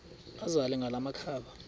azele ngala makhaba